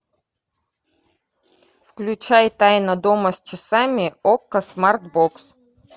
включай тайна дома с часами окко смартбокс